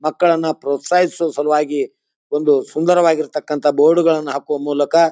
ಮಕ್ಕಳನ್ನ ಪ್ರೋತ್ಸಹಿಸೋ ಸಲುವಾಗಿ ಒಂದು ಸುಂದರವಾಗಿರ್ತಕಂತ ಬೋರ್ಡ ಗಳನ್ನೂ ಹಾಕುವ ಮೂಲಕ --